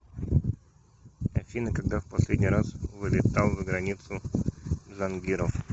афина когда в последний раз вылетал за границу джангиров